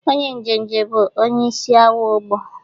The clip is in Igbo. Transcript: Onye njenje bụ onye isi awọ ogbọ.